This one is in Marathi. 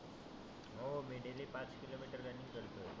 हो मी डेली पाच किलो मिटर रनींग करतो.